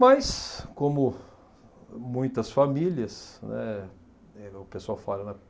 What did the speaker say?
Mas, como muitas famílias, né, igual o pessoal fala, né?